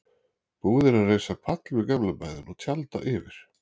Búið er að reisa pall við gamla bæinn og tjalda yfir.